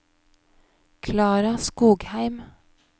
Klara Skogheim